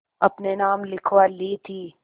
अपने नाम लिखवा ली थी